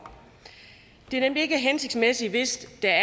det er nemlig ikke hensigtsmæssigt hvis det er